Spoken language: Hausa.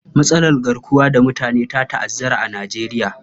Matsalar garkuwar da mutane ta ta'azzara a Nijeriya.